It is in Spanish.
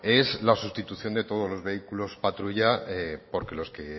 es la sustitución de todos los vehículos patrulla porque los que